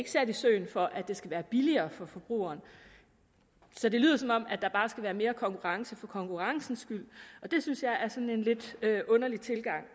sat i søen for at det skal være billigere for forbrugeren så det lyder som om der bare skal være mere konkurrence for konkurrencens skyld og det synes jeg er sådan en lidt underlig tilgang